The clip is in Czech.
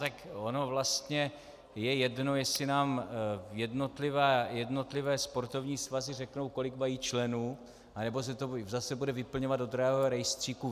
Tak ono vlastně je jedno, jestli nám jednotlivé sportovní svazy řeknou, kolik mají členů, anebo se to bude zase vyplňovat do drahého rejstříku.